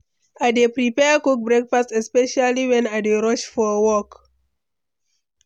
I dey prefer quick breakfast, especially when i dey rush for work.